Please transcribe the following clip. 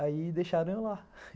Aí deixaram eu lá.